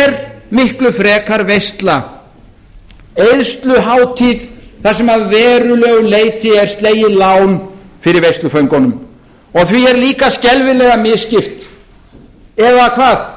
er miklu frekar veisla eyðsluhátíð þar sem að verulegu leyti er slegið lán fyrir veisluföngunum því er líka skelfilega misskipt eða hvað